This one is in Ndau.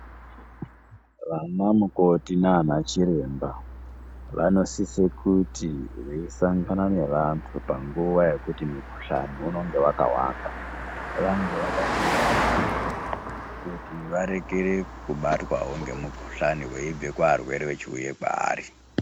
Vanamukoti naana chiremba vanosise kuti veisangana nevantu panguva yekuti mukuhlani unonge wakawanda. Vange vakazvidzivirira kuti varekere kubatwawo ngemukuhlani weibve kuarwere wechuiye kwaari.